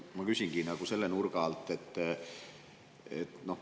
Ma küsingi selle nurga alt.